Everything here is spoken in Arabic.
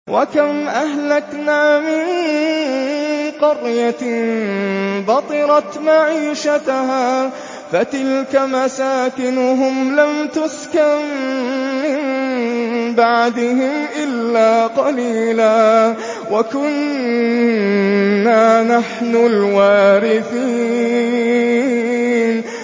وَكَمْ أَهْلَكْنَا مِن قَرْيَةٍ بَطِرَتْ مَعِيشَتَهَا ۖ فَتِلْكَ مَسَاكِنُهُمْ لَمْ تُسْكَن مِّن بَعْدِهِمْ إِلَّا قَلِيلًا ۖ وَكُنَّا نَحْنُ الْوَارِثِينَ